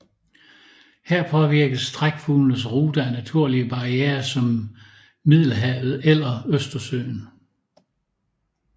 Her påvirkes trækfuglenes ruter af naturlige barrierer som Middelhavet eller Østersøen